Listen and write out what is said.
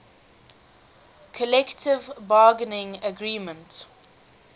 collective bargaining agreement